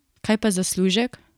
Kaj pa zaslužek?